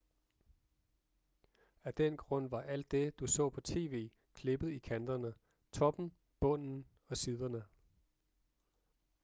af den grund var alt det du så på tv klippet i kanterne toppen bunden og siderne